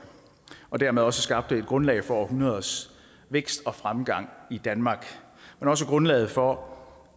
og dermed også skabte et grundlag for århundreders vækst og fremgang i danmark men også grundlaget for